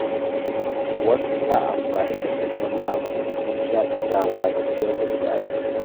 Wasu suna amfani da karshen mako don Shaƙatawa da ciyar da iyali.